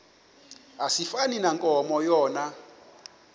asifani nankomo yona